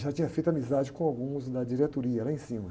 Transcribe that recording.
Já tinha feito amizade com alguns da diretoria, lá em cima.